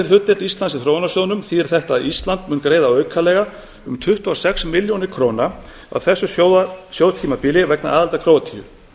hlutdeild íslands í þróunarsjóðnum þýðir þetta að ísland mun greiða aukalega um tuttugu og sex milljónir króna á þessu sjóðstímabili vegna aðildar króatíu